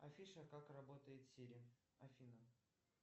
афиша как работает сири афина